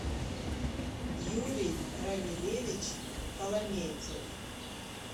юрий рамилевич коломейцев